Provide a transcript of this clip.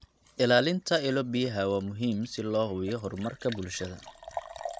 Ilaalinta ilo-biyaha waa muhiim si loo hubiyo horumarka bulshada.